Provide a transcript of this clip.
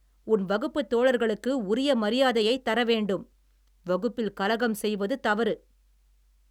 உன் வகுப்புத்தோழர்களுக்கு உரிய மரியாதையைத் தரவேண்டும். வகுப்பில் கலகம் செய்வது தவறு.